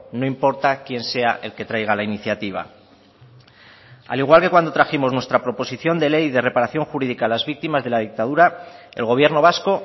no importa quién sea el que traiga la iniciativa al igual que cuando trajimos nuestra proposición de ley de reparación jurídica a las víctimas de la dictadura el gobierno vasco